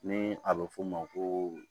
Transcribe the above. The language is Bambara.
Ni a be f'o ma ko